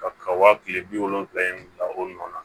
Ka ka wa kile bi wolonwula in bila o nɔ na